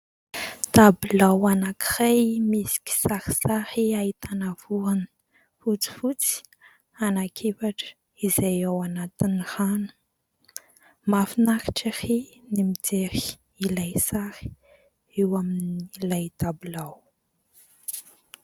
Tabilao anankiray misy kisarisary ahitana vorona fotsifotsy anankiefatra izay ao anatin'ny rano. Mahafinaritra ery ny mijery an'ilay sary ao amin'ilay tabilao.